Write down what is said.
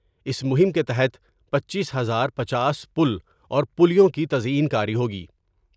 اس مہم کے تحت پنچیس ہزار پنچاس پل اور پلیوں کی تزئین کاری ہوگی ۔